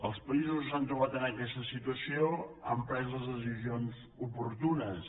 els països que s’han trobat amb aquesta situació han pres les decisions oportunes